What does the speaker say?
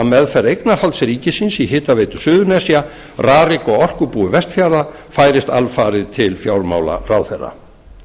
meðferð eignarhalds ríkisins í hitaveitu suðurnesja rarik og orkubúi vestfjarða færist alfarið til fjármálaráðherra